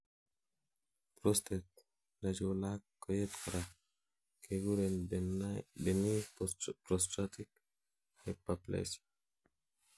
prostate nechulak koyet korak kekuren benign prostatic hyperplasia